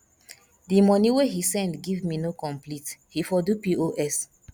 the money wey he send give me no complete he for do pos